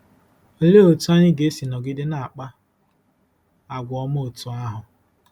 Olee otú anyị ga-esi nọgide na-akpa àgwà ọma otú ahụ?